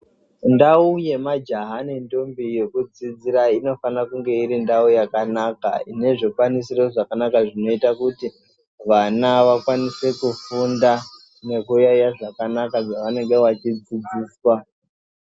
Ndau yemajaha nendombi yekudzidzira inofane kunge irindau yakanaka inezvikwanisiro zvakanaka zvinoite kuti vana vakwanise kufunda nekuyaiya zvakanaka zvavanenge vachidzidziswa.